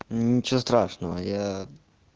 ничего страшного я